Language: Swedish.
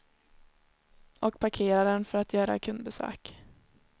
Och parkerar den för att göra kundbesök.